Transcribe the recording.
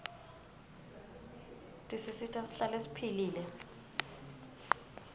tisisita sihlale siphilile